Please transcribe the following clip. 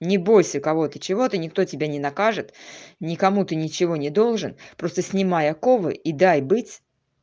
не бойся кого ты чего ты никто тебя не накажет никому ты ничего не должен просто снимай оковы и дай быть